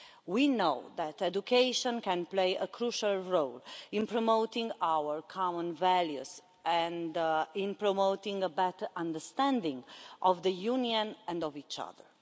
We know that education can play a crucial role in promoting our common values and in promoting a better understanding of the Union and of each other.